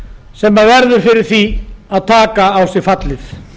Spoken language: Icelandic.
sem verður fyrir því að taka á sig fallið